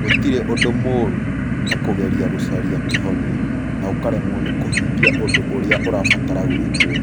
Gũtirĩ ũndũ mũũru ta kũgeria "gũcaria kĩhonia", na ũkaremwo nĩ kũhingia ũndũ ũrĩa ũrabatara gwĩkwo.